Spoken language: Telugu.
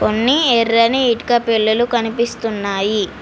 కొన్ని ఎర్రని ఇటుక పెల్లలు కనిపిస్తున్నాయి.